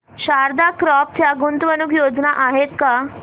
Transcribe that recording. Sharda crop च्या गुंतवणूक योजना आहेत का